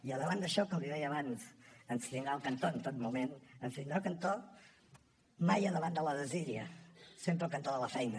i davant d’això com li deia abans ens tindrà al cantó en tot moment ens tindrà al cantó mai davant de la desídia sempre al cantó de la feina